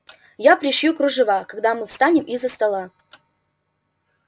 я пришью кружева когда мы встанем из-за стола